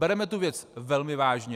Bereme tu věc velmi vážně.